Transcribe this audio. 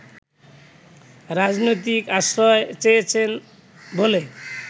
রাজনৈতিক আশ্রয় চেয়েছেন বলে